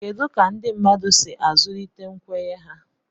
kedu ka ndị mmadụ si azụlite nkwenye ha